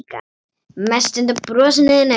Mest undan brosinu þínu.